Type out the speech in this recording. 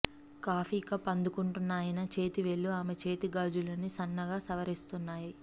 coffee cup అందుకుంటున్న ఆయన చేతి వేళ్ళు ఆమె చేతి గాజులని సన్నగా సవరిస్తున్నాయి